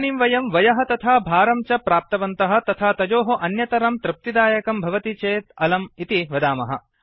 इदानीं वयं वयः तथा भारं च प्राप्तवन्तः तथा तयोः अन्यतरं तृप्तिदायकं भवति चेदलं इति वदामः